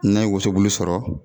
N'a ye wosobulu sɔrɔ